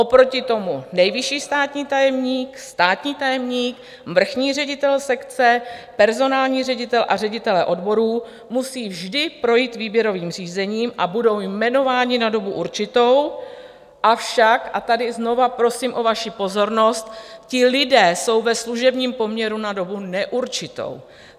Oproti tomu nejvyšší státní tajemník, státní tajemník, vrchní ředitel sekce, personální ředitel a ředitelé odborů musí vždy projít výběrovým řízením a budou jmenováni na dobu určitou, avšak - a tady znovu prosím o vaši pozornost - ti lidé jsou ve služebním poměru na dobu neurčitou.